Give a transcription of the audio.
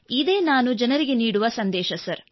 ಇದೇ ನಾನು ಜನರಿಗೆ ನೀಡುವ ಸಂದೇಶ ಸರ್